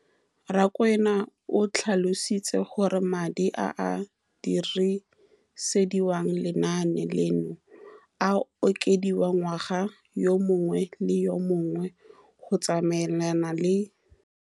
Rakwena o tlhalositse gore madi a a dirisediwang lenaane leno a okediwa ngwaga yo mongwe le yo mongwe go tsamaelana le